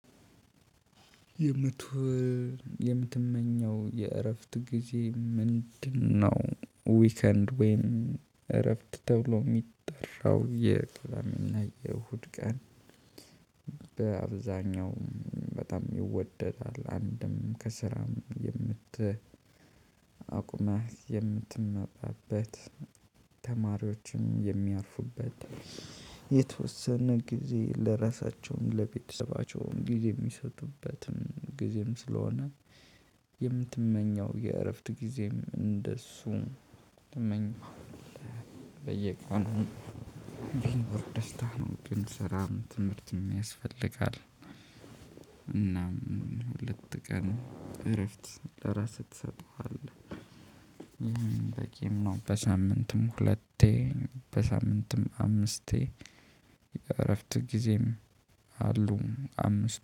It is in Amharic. የምትሆን የምትመኘው የእረፍት ጊዜ ምንድነው? ዊከንድ ወይም እረፍት ተብሎ የሚጠራው የቅዳሜና የእሁድ ቀን። በአብዛኛው በጣም ይወደዳል አንድም ከስራም የምት አቁመህ የምትመጣበት። ተማሪዎችን የሚያርፉበት የተወሰነ ጊዜ ለራሳቸውም ለቤተሰባቸውም ጊዜ የሚሰጡበትም ጊዜም ስለሆነ። የምትመኘው የእረፍት ጊዜም እንደሱ ትመኛለህ። በየቀኑ ቢኖር ደስታ ነው። ብንሰራም ትምህርትም ያስፈልጋል። እናም ሁለት ቀን እረፍት ለራስህ ትሰጠዋለህ በቂም ነው። በሳምንትም ሁለቴ በሳምንትም አምስቴ የእረፍት ጊዜም አሉ አምስት